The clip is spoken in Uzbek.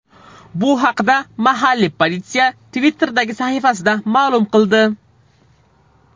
Bu haqda mahalliy politsiya Twitter’dagi sahifasida ma’lum qildi .